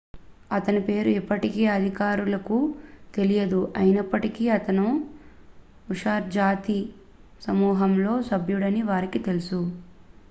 అతని పేరు ఇప్పటికీ అధికారులకు తెలియదు అయినప్పటికీ అతను ఉయ్ఘర్ జాతి సమూహంలో సభ్యుడని వారికి తెలుసు